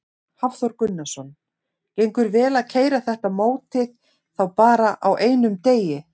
Hafþór Gunnarsson: Gengur vel að keyra þetta mótið þá bara á einum degi?